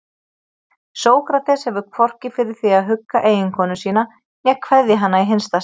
Sókrates hefur hvorki fyrir því að hugga eiginkonu sína né kveðja hana í hinsta sinn.